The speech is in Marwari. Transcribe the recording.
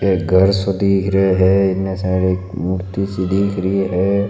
एक घर सो दिख रियो है एने साइड एक मूर्ति सी दिख रही है।